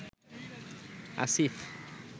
Asif